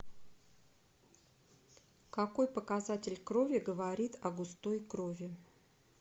какой показатель крови говорит о густой крови